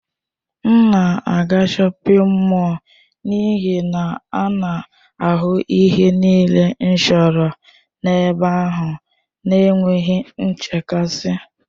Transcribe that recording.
M na-aga shọpin mọll n'ihi na a na-ahụ ihe niile m chọrọ n'ebe ahụ n'enweghị nchekasị.